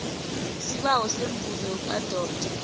isibawo semivuzo yokuadoptha